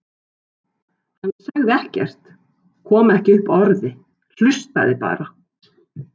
Hann sagði ekkert, kom ekki upp orði, hlustaði bara.